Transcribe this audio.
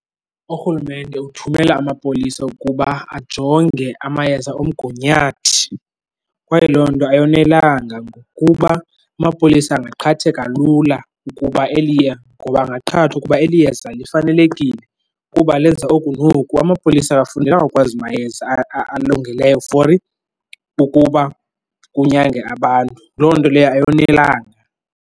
Urhulumente uthumela amapolisa ukuba ajonge amayeza omgunyathi kwaye loo nto ayonelanga ngokuba amapolisa angaqhatheka lula ukuba ngoba angaqhathwa ukuba eli yeza lifanelekile kuba lenza oku noku. Amapolisa awafundelanga ukwazi mayeza alungileyo for ukuba kunyange abantu. Loo nto leyo ayonelanga.